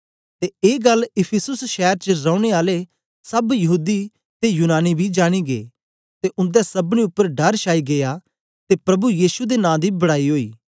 ते ए गल्ल इफिसुस शैर च रौने आले सब यहूदी ते यूनानी बी जानी गै ते उन्दे सबनी उपर डर छाई गीया ते प्रभु यीशु दे नां दी बड़ाई ओई